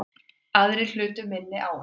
Aðrir hlutu minni áverka